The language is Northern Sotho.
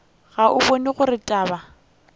ga o bone gore taba